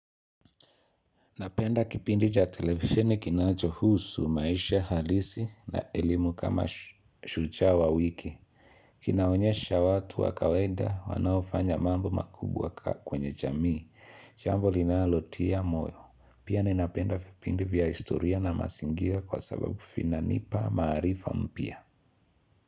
Napenda kipindi cha televisheni kinachohusu, maisha halisi na elimu kama shujaa wa wiki. Kinaonyesha watu wa kawaida wanaofanya mambo makubwa kwenye jamii. Jambo linalotia moyo. Pia ninapenda vipindi vya historia na mazingia kwa sababu vinanipa maarifa mpya.